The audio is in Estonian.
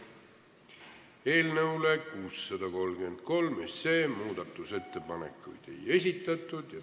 Eelnõu 633 kohta muudatusettepanekuid ei esitatud.